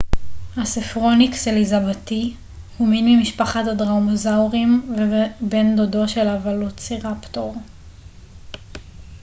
הספרוניקס אליזבתי הוא מין ממשפחת הדרומאוזאוריים ובן דודו של הוולוצירפטור